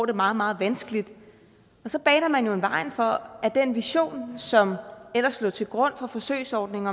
det meget meget vanskeligt og så baner man jo vejen for at den vision som ellers lå til grund for forsøgsordningen